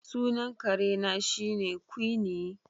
Sunan kare na shine Quinine